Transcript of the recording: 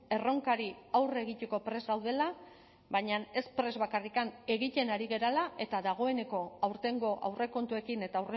erronkari aurre egiteko prest gaudela baina ez prest bakarrik egiten ari garela eta dagoeneko aurtengo aurrekontuekin eta